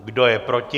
Kdo je proti?